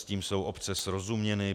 S tím jsou obce srozuměny.